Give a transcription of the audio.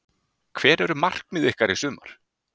Hver eru markmið ykkar í sumar?